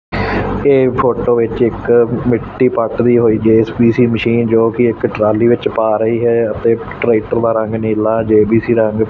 ਏਹ ਫੋਟੋ ਵਿੱਚ ਇੱਕ ਮਿੱਟੀ ਪਾਟ ਰਹੀ ਹੋਈ ਜੇ_ਸੀ_ਬੀ_ਸੀ ਮਸ਼ੀਨ ਜੋਕੀ ਇੱਕ ਟਰਾਲੀ ਵਿੱਚ ਪਾ ਰਹੀ ਹੈ ਅਤੇ ਇੱਕ ਟ੍ਰੈਕਟਰ ਦਾ ਰੰਗ ਨੀਲਾ ਜੇ_ਬੀ_ਸੀ ਦਾ ਰੰਗ--